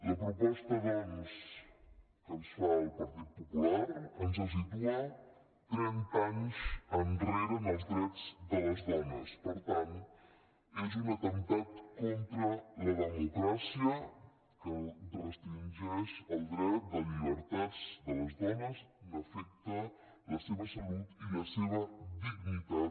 la proposta doncs que ens fa el partit popular ens situa trenta anys enrere en els drets de les dones per tant és un atemptat contra la democràcia que restringeix el dret de llibertats de les dones afecta la seva salut i la seva dignitat